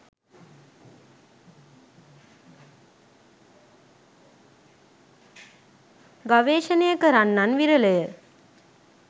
ගවේශණය කරන්නන් විරලය.